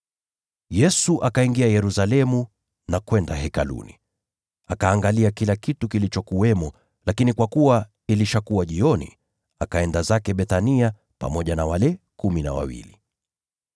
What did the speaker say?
Yesu akaingia Yerusalemu na kwenda Hekaluni. Akaangalia kila kitu kilichokuwamo, lakini kwa kuwa ilishakuwa jioni, akaenda zake Bethania pamoja na wale kumi na wawili.